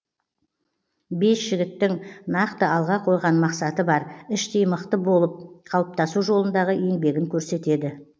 бес жігіттің нақты алға қойған мақсаты бар іштей мықты болып қалыптасу жолындағы еңбегін көрсетеді